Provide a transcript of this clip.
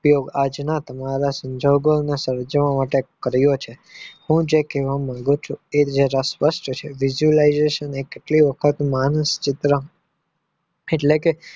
એ આજના તમારા સમજવા માટે કર્યો છે હું જે કહેવા મંગુ છું એ સ્પષ્ટ છે માણસ ચિત્ર એટલે કે